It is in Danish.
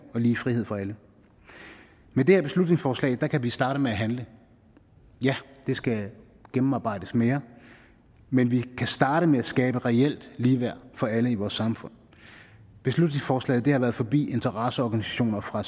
og lige frihed for alle med det her beslutningsforslag kan vi starte med at handle ja det skal gennemarbejdes mere men vi kan starte med at skabe et reelt ligeværd for alle i vores samfund beslutningsforslaget har været forbi interesseorganisationer fra